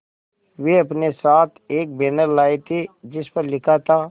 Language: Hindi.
वे अपने साथ एक बैनर लाए थे जिस पर लिखा था